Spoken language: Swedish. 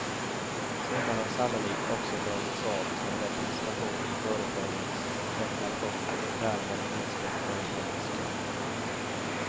Summan har sannolikt också dragits av som representation i företagens deklarationer och därmed minskat företagens skatt.